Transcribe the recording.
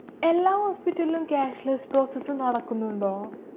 എല്ലാ hospital ലും cashless process അ് നടക്കുന്നുണ്ടോ?